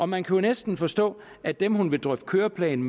man kan jo næsten forstå at dem hun vil drøfte køreplan